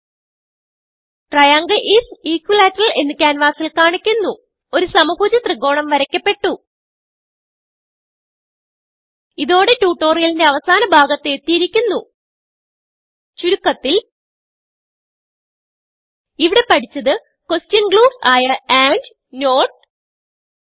okay ട്രയാങ്ങിൽ is equilateral എന്ന് ക്യാൻവാസിൽ കാണിക്കുന്നു ഒരു സമഭുജ ത്രികോണം വരയ്ക്കപെട്ടു ഇതോടെ ട്യൂട്ടോറിയലിന്റെ അവസാന ഭാഗത്ത് എത്തിയിരിക്കുന്നു ചുരുക്കത്തിൽ ഇവിടെ പഠിച്ചത് ക്വെഷൻ ഗ്ലൂസ് ആയ ആൻഡ് നോട്ട്